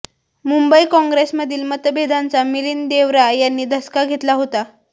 मुंबई काँग्रेसमधील मतभेदांचा मिलिंद देवरा यांनी धसका घेतला होता